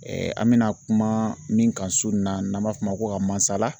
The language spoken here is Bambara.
an bɛna kuma min kan su nin na n'an b'a f'o ma ko ka masala.